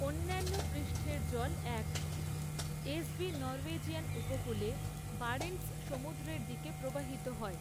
অন্যান্য পৃষ্ঠের জল এক। এসভি নরওয়েজিয়ান উপকূলে, বারেন্টস সমুদ্রের দিকে প্রবাহিত হয়।